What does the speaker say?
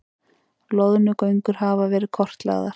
Loðnugöngur hafa verið kortlagðar